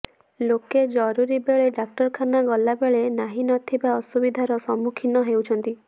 ଲୋକେ ଜରୁରୀ ବେଳେ ଡାକ୍ତରଖାନ ଗଲାବେଳେ ନାହିଁନଥିବା ଅସୁବିଧାର ସମ୍ମୁଖୀନ ହେଉଛନ୍ତି